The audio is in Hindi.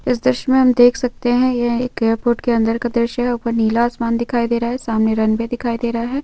इस दृश्य में हम देख सकते हैं यह एक एयरपोर्ट के अंदर का दृश्य हैं। ऊपर नीला आसमान दिखाई दे रहा है सामने रणवे दिखाई दे रहा है।